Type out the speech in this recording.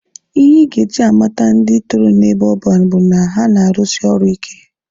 Ihe ị ga-eji amata ndị toro n'ebe ọban bụ na ha na-arụsi ọrụ ike.